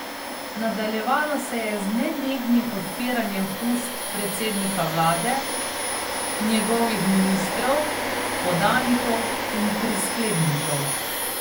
Nadaljevalo se je z nenehnim odpiranjem ust predsednika vlade, njegovih ministrov, podanikov in prisklednikov.